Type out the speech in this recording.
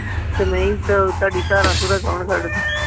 ਤੇ ਨਹੀਂ ਤੇ ਉਹ ਤੁਹਾਡੀ ਧਾਰਾਂ ਧੁਰਾਂ ਕੌਣ ਕੱਢਦਾ।